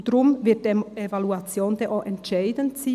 Deshalb wird die Evaluation entscheidend sein.